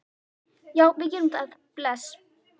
Já, við gerum það. Bless.